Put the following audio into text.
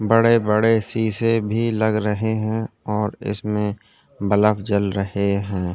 बड़े -बड़े शीशे भी लग रहे है और इसमें बलब जल रहे है।